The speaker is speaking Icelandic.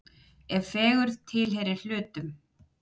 ef fegurð tilheyrir hlutum